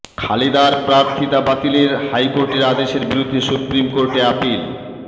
খালেদার প্রার্থিতা বাতিলে হাইকোর্টের আদেশের বিরুদ্ধে সুপ্রিম কোর্টে আপিল